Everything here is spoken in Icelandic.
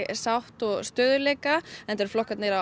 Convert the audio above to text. sátt og stöðugleika enda eru flokkarnir á